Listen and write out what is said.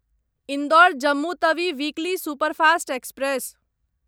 Indore Jammu Tawi weekly superfast express